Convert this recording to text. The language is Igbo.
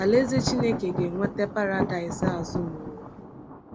Alaeze Chineke ga-eweta Paradaịs azụ n’ụwa.